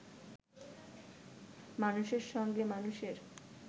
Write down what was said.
মানুষের সঙ্গে মানুষের